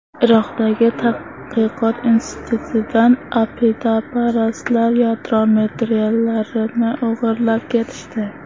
Iroqdagi tadqiqot institutidan aqidaparastlar yadro materiallarini o‘g‘irlab ketishdi.